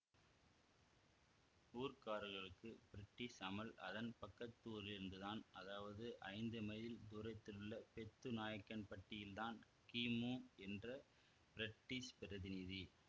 ஊர்க்காரர்களுக்கு British அமல் அதன் பக்கத்தூரிலிருந்துதான் அதாவது ஐந்து மைல் தூரத்திலுள்ள பெத்துநாய்க்கன்பட்டியில் தான் கிமு என்ற பிரிட்டிஷ் பிரதிநிதி